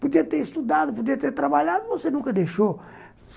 Podia ter estudado, podia ter trabalhado, você nunca deixou.